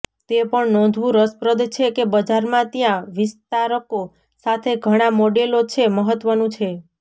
તે પણ નોંધવું રસપ્રદ છે કે બજારમાં ત્યાં વિસ્તારકો સાથે ઘણા મોડેલો છે મહત્વનું છે